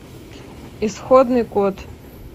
исходный код